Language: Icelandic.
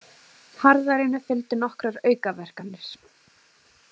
Harðærinu fylgdu nokkrar aukaverkanir.